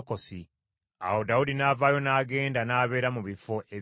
Awo Dawudi n’avaayo n’agenda n’abeera mu bifo ebya Engedi.